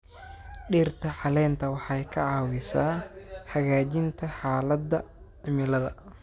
Dhirta caleenta waxay ka caawisaa hagaajinta xaaladda cimilada.